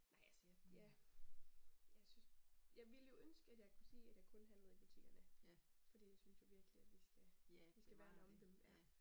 Ej altså ja, jeg synes, jeg ville jo ønske at jeg kunne sige at jeg kun handlede i butikkerne fordi jeg synes jo virkelig at at vi skal værne om dem ja